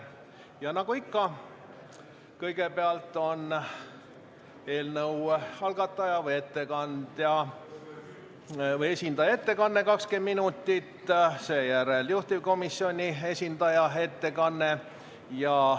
Ja nagu ikka, kõigepealt on eelnõu algataja või esindaja ettekanne, 20 minutit, seejärel juhtivkomisjoni esindaja ettekanne.